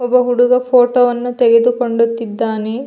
ಒಬ್ಬ ಹುಡುಗ ಫೋಟೋ ವನ್ನು ತೆಗೆದು ಕೊಂಡುತ್ತಿದ್ದಾನೆ.